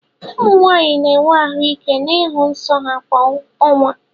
Ụmụ nwanyị na-enwe ahụ́ ike ịhụ nsọ ha kwa ọnwa.